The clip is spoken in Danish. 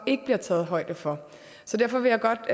ikke bliver taget højde for så derfor vil jeg godt